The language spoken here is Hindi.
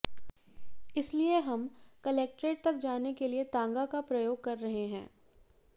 इसलिए हम क्लेक्ट्रेट तक जाने के लिए तांगा का प्रयोग कर रहे हैं